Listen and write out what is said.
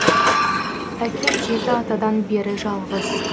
әкем жеті атадан бері жалғыз